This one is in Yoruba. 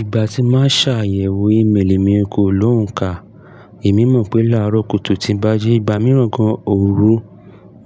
Ìgbà tí máa ṣàyẹ̀wò ímélì mi kò lóhùn ká. Èmi mọ̀ pé láàárọ̀ kùtù tí ń bá jí ìgbà mìíràn gan òru,